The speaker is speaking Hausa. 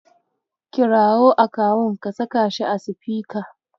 Kirawo akawun ka saka shi a sifika.